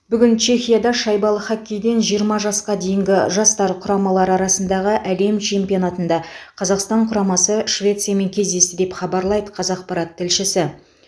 бүгін чехияда шайбалы хоккейден жиырма жасқа дейінгі жастар құрамалары арасындағы әлем чемпионатында қазақстан құрамасы швециямен кездесті деп хабарлайды қазақпарат тілшісі